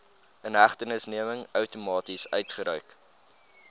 inhegtenisneming outomaties uitgereik